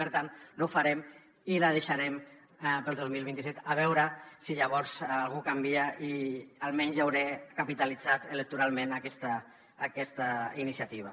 i per tant no ho farem i la deixarem per al dos mil vint set a veure si llavors alguna cosa canvia i almenys ja hauré capitalitzat electoralment aquesta iniciativa